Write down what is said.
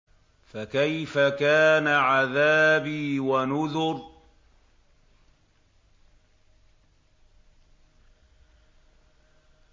فَكَيْفَ كَانَ عَذَابِي وَنُذُرِ